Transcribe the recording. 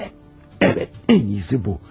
Evet, evet, ən iyisi bu.